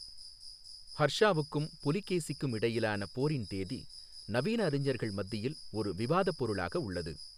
ஹர்ஷாவுக்கும் புலிகேசிக்கும் இடையிலான போரின் தேதி நவீன அறிஞர்கள் மத்தியில் ஒரு விவாதப் பொருளாக உள்ளது.